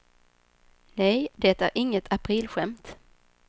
Nej, det är inget aprilskämt.